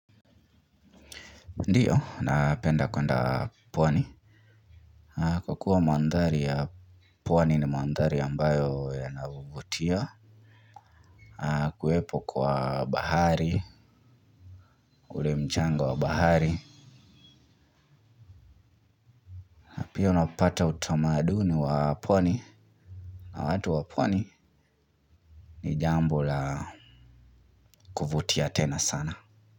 Ndiyo, napenda kwenda pwani. Kwa kuwa mandari ya pwani ni mandari ambayo yana vuvutia. Kuwepo kwa bahari, ule mchanga wa bahari. Pia unapata utamaduni wa pwani. Na watu wa pwani ni jambo la kuvutia tena sana.